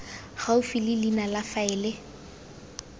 gaufi le leina la faele